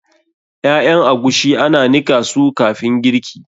Ƴaƴan agushi ana nika su kafin girki.